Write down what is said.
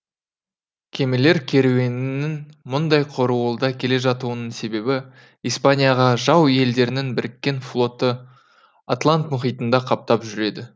кемелер керуенінің мұндай қоруылда келе жатуының себебі испанияға жау елдердің біріккен флоты атлант мұхитында қаптап жүреді